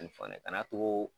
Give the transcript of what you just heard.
N fɔ ne kan'a too